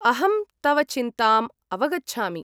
अहं तव चिन्ताम् अवगच्छामि।